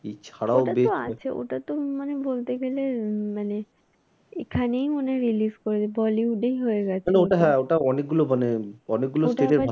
মানে অনেক গুলো